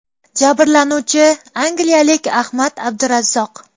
Jabrlanuvchi angliyalik Ahmad Abdurazzoq.